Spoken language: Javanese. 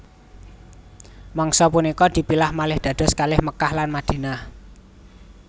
Mangsa punika dipilah malih dados kalih Mekkah lan Madinah